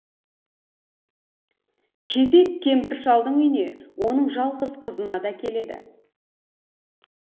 кезек кемпір шалдың үйіне оның жалғыз қызына да келеді